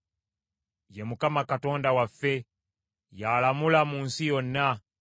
Ye Mukama Katonda waffe; ye alamula mu nsi yonna.